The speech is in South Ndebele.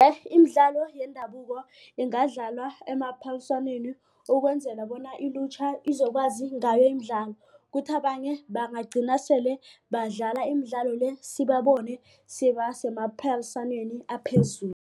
imidlalo yendabuko ingadlalwa emaphaliswaneni ukwenzela bona ilutjha izokwazi ngayo imidlalo. Kuthi abanye bangagcina sele badlala imidlalo le sibabone sebasemaphaliswaneni aphezulu.